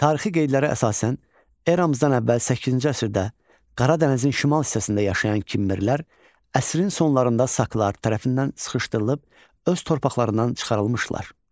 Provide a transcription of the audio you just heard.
Tarixi qeydlərə əsasən, eramızdan əvvəl səkkizinci əsrdə Qara dənizin şimal hissəsində yaşayan Kimmerlər əsrin sonlarında Saklar tərəfindən sıxışdırılıb öz torpaqlarından çıxarılmışdılar.